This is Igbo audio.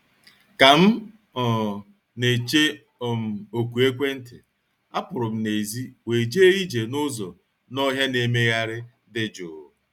Ka m um na-eche um oku ekwentị, apụrụ m n'èzí wee jee ije n’ụzọ n'ọhịa na-emegharị dị jụụ